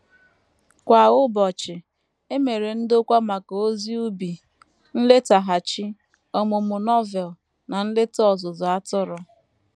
Kwa ụbọchị, e mere ndokwa maka ozi ubi, nletaghachi, ọmụmụ Novel, na nleta ọzụzụ atụrụ.